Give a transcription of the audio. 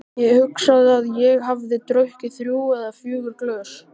Ég hugsa að ég hafi drukkið þrjú eða fjögur glös.